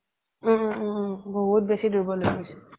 উম উম উম বহুত বেচি দুৰ্বল হৈ গৈছিল